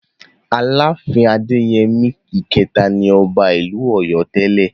Aláàfin Adéyẹmí ìkẹta ni ọba ìlú Ọ̀yọ́ tẹ́lẹ̀.